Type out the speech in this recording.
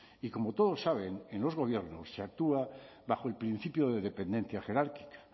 y como todos saben en los gobiernos se actúa bajo el principio de dependencia jerárquica